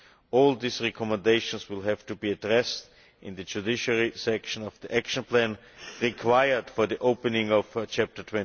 All these recommendations will have to be addressed in the judiciary section of the action plan required for the opening of Chapter